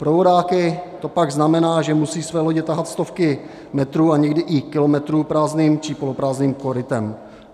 Pro vodáky to pak znamená, že musí své lodě tahat stovky metrů a někdy i kilometrů prázdným či poloprázdným korytem.